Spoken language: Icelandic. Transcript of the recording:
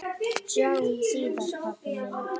Sjáumst síðar, pabbi minn.